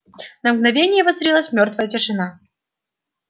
на мгновение воцарилась мёртвая тишина